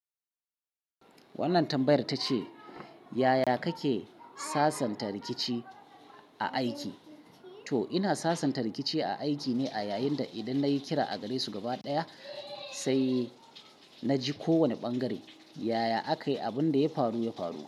Wannan tambayar ta ce, "yaya kake sasanta rikici a aiki?" To, ina sasanta rikici a aiki ne a yayin da idan nayi kira a gare su gaba ɗaya, sai na ji ko wane ɓangare. Yaya aka yi abin da ya faru, ya faru.